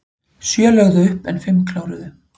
Sjö lögðu upp en fimm kláruðu